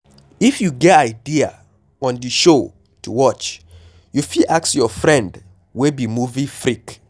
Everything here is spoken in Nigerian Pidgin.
if you no get idea on di show to watch, you fit ask your friend wey be movie freak